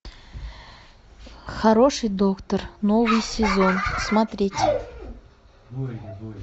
хороший доктор новый сезон смотреть